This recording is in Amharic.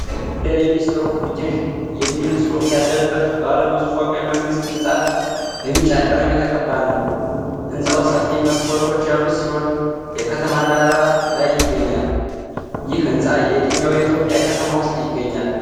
"FDRE Ministry of Education" የሚል ጽሑፍ ያለበት ባለብዙ ፎቅ የመንግሥት ሕንፃ በቢጫ ቀለም የተቀባ ነው። ሕንፃው ሰፊ መስኮቶች ያሉት ሲሆን የከተማ ዳራ ላይ ይገኛል። ይህ ሕንፃ የትኛው የኢትዮጵያ ከተማ ውስጥ ይገኛል?